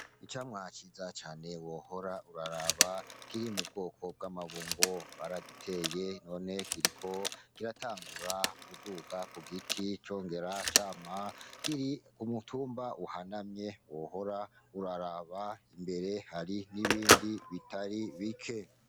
Icamwa ciza cane wohora uraraba kiri mu bwoko bw'amabungo, baragiteye none kiriko kiratangura kuduga ku giti congera cama kiri ku mutumba uhanamye wohora uraraba imbere hari nibindi bitari bike.